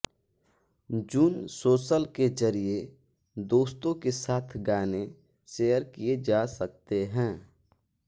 zone social के ज़रिये दोस्तों के साथ गाने शेयर किये जा सकते हैं